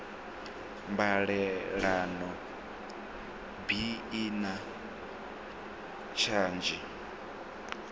mbalelano bi i na tshadzhi